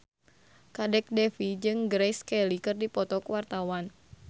Kadek Devi jeung Grace Kelly keur dipoto ku wartawan